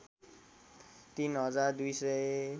३ हजार २ सय